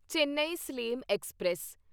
Chennai Salem express